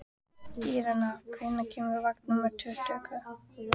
Irena, hvenær kemur vagn númer tuttugu?